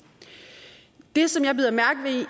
det som jeg bider mærke